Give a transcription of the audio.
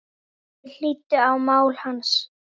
Þeir hlýddu á mál hans.